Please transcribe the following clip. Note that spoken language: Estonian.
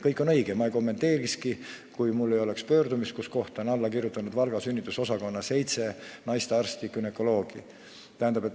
Kõik on õige ja ma ei kommenteerikski, kui mu laual ei oleks pöördumist, kuhu on alla kirjutanud seitse Valga sünnitusosakonna naistearsti.